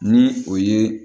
Ni o ye